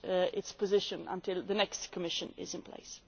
its position until the next Commission is in place.